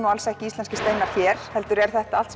ekki íslenskir steinar hér heldur er þetta allt